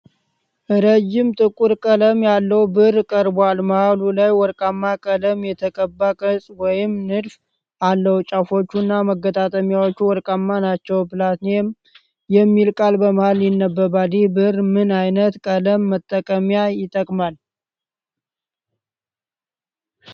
ረጅም ጥቁር ቀለም ያለው ብዕር ቀርቧል። መሀል ላይ ወርቃማ ቀለም የተቀባ ቅርፅ ወይም ንድፍ አለው። ጫፎቹ እና መገጣጠሚያዎቹ ወርቃማ ናቸው። ፕላቲነም (PLATINUM) የሚል ቃል በመሀል ይነበባል። ይህ ብዕር ምን አይነት ቀለም (መጠንቀቂያ) ይጠቀማል?